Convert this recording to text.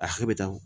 A hakɛ bɛ taa